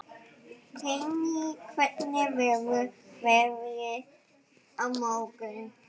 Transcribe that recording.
Brynný, hvernig verður veðrið á morgun?